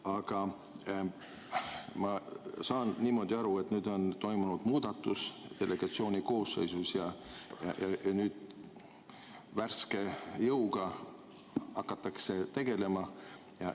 Aga ma saan niimoodi aru, et nüüd on toimunud muudatus delegatsiooni koosseisus ja värske jõuga hakatakse tegelema.